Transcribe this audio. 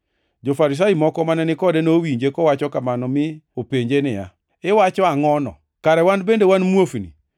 Jo-Farisai moko mane ni kode nowinje kowacho kamano mi openje niya, “Iwacho angʼono? Kare wan bende wan muofni?”